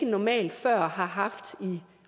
normalt har haft i